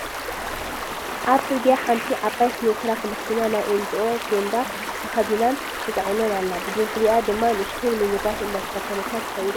ኣብ ፅርግያ ሓንቲ ዓባይ ሲኖ ትራክ መኪና ናይ ኤንጅኦ ቸንዳ ተኸዲናን ተፃዒናን ኣላ፡፡ ብድሕሪኣ ድማ ንእሽተይ ሚኒባስ እንዳተኸተለታ ትኸይድ ኣላ፡፡